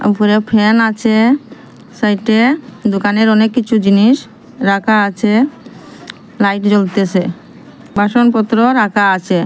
উপরে ফ্যান আছে সাইটে দোকানের অনেক কিছু জিনিস রাখা আছে লাইট জ্বলতেসে বাসনপত্রও রাখা আসে।